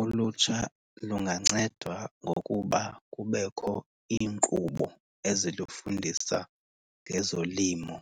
Uutsha lungancedwa ngokuba kubekho iinkqubo ezinokufundisa ngezolimo